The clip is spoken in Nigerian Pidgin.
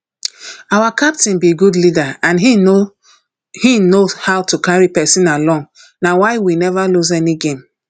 our captain be good leader and he know he know how to carry person along na why we never lose any game